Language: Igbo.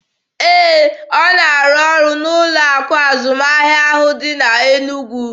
Ee, ọ na arụ ọrụ n'ụlọ akụ azụmahịa ahụ dị n'Enugwu.